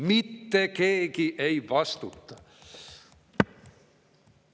Mitte keegi ei vastuta.